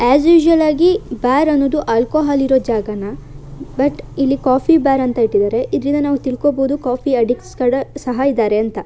As usual ಆಗಿ bar ಅನ್ನೋದು alcohol ಇರೋ ಜಾಗನೇ ಬಟ್ ಇಲ್ಲಿ ಕಾಫಿಬಾರ್ ಅಂತ ಇಟ್ಟಿದ್ದಾರೆ ಇದರಿಂದ ನಾವು ತಿಳ್ಕೋಬೋದು ಕಾಫಿ ಅಡ್ದಿಕ್ಟ್ಸ್ ತರ ಸಹ ಇದ್ದಾರೆ ಅಂತ.